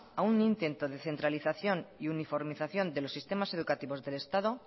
a un intento de centralización y uniformización de los sistemas educativos del estado